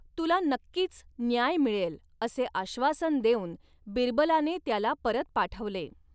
तुला नक्कीच न्याय मिळेल, असे आश्वासन देऊन बिरबलाने त्याला परत पाठवले.